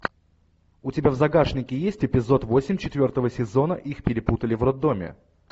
у тебя в загашнике есть эпизод восемь четвертого сезона их перепутали в роддоме